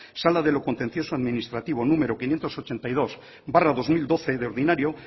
sala de lo contencioso administrativo número quinientos ochenta y dos barra dos mil doce de ordinario